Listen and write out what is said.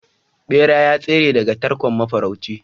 bera ya tsere daga tarkon mafarauci